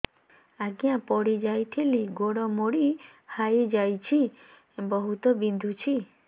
ଆଜ୍ଞା ପଡିଯାଇଥିଲି ଗୋଡ଼ ମୋଡ଼ି ହାଇଯାଇଛି ବହୁତ ବିନ୍ଧୁଛି